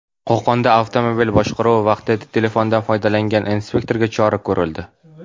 Qo‘qonda avtomobil boshqaruvi vaqtida telefondan foydalangan inspektorga chora ko‘rildi.